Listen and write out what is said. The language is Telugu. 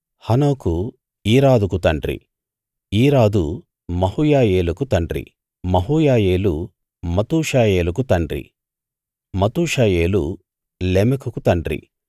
హనోకు ఈరాదుకు తండ్రి ఈరాదు మహూయాయేలుకు తండ్రి మహూయాయేలు మతూషాయేలుకు తండ్రి మతూషాయేలు లెమెకుకు తండ్రి